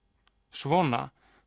svona